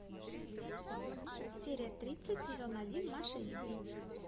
серия тридцать сезон один маша и медведь